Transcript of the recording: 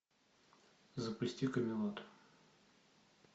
запусти камелот